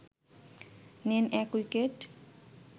নেন ১ উইকেট